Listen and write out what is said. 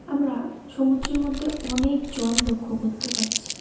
আমরা সমুদ্রের মধ্যে অনেক জল লক্ষ করতে পারছি।